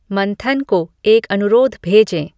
मंथन को एक अनुरोध भेजें